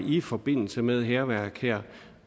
i forbindelse med hærværk